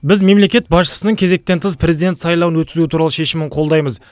біз мемлекет басшысының кезектен тыс президент сайлауын өткізу туралы шешімін қолдаймыз